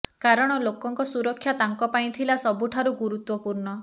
କାରଣ ଲୋକଙ୍କ ସୁରକ୍ଷା ତାଙ୍କ ପାଇଁ ଥିଲା ସବୁଠାରୁ ଗୁରୁତ୍ୱପୂର୍ଣ୍ଣ